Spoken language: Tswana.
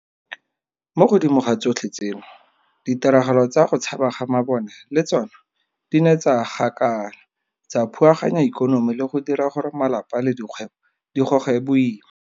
Mo godimo ga tsotlhe tseno, ditiragalo tsa go tshaba ga mabone le tsona di ne tsa gakala, tsa phuaganya ikonomi le go dira gore malapa le dikgwebo di goge boima.